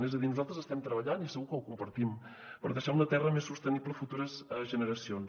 és a dir nosaltres estem treballant i segur que ho compartim per deixar una terra més sostenible a futures generacions